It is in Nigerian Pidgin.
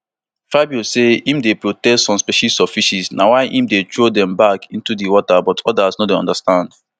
fabio say im dey protect some species of fish na why im dey throw dem back into di water but odas no understand